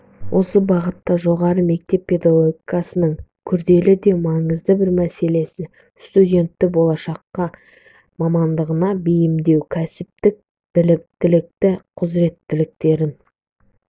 осы бағытта жоғары мектеп педагогикасының күрделі де маңызды бір мәселесі студентті болашақ мамандығына бейімдеу кәсіптік біліктілік құзыреттіліктерін